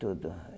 Tudo.